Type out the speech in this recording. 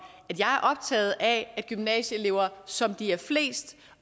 at jeg er optaget af at gymnasieelever som de er flest